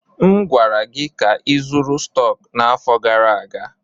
M gwara gị ka ịzụrụ stọks n'afọ gara aga!